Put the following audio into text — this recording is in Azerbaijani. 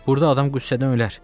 Burda adam qüssədən ölər.